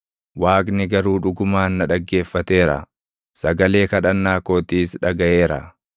Waaqni garuu dhugumaan na dhaggeeffateera; sagalee kadhannaa kootiis dhagaʼeera.